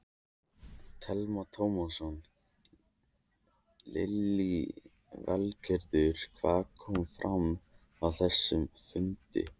Telma Tómasson: Lillý Valgerður, hvað kom fram á þessum fundi?